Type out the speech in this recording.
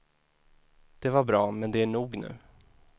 Det var bra, men det är nog nu.